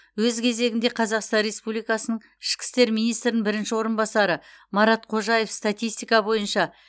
өз кезегінде қазақстан республикасының ішкі істер министрінің бірінші орынбасары марат қожаев статистика бойынша